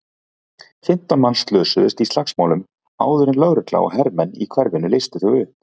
Fimmtán manns slösuðust í slagsmálunum áður en lögregla og hermenn í hverfinu leystu þau upp.